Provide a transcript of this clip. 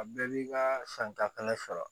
A bɛɛ b'i ka santala sɔrɔ